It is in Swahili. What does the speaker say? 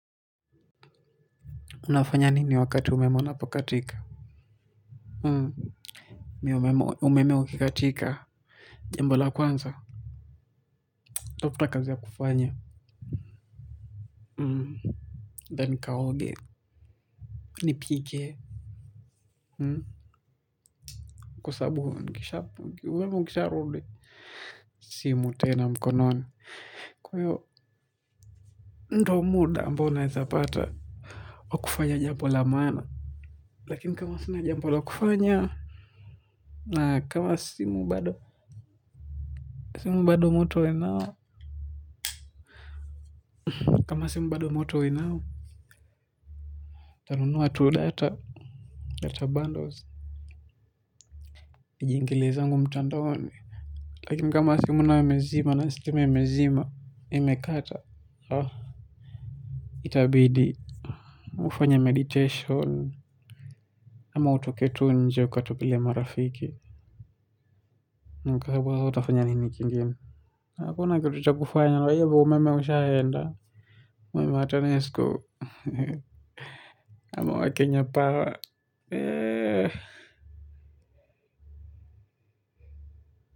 Unafanya nini wakati umeme unapo katika? Hmm. Mi umeme ukikatika. Jambola kwanza. Dafta kazi ya kufanya. Hmm. Denikaoge. Nipike. Hmm. Kusabu hukishabu hukisharudi. Simu tena mkononi. Huu ndio muda ambao naeza pata. Wa kufanya jambo la maana. Lakini kama sina jambo la kufanya. Na kama simu bado. Kama bado moto uwe nao. Kama simu bado moto uwe nao. Nitanunua tu data, data bundles. Nijiingile zangu mtandaoni. Lakini kama simu nayo imezima na stima imezima, imekata. Itabidi ufanye medication. Ama utoke tu nje ukatembelee marafiki. Ni kwa sababu utafanya nini kingine? Hakuna kitu cha kufanya kwa hivyo umeme ushaenda, ama wa Kenya Power.